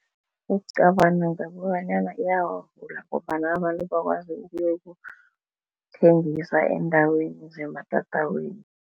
Ngicabanga ngokobanyana iyawavula ngombana abantu bakwazi ukuyokuthengisa eendaweni zematatawini.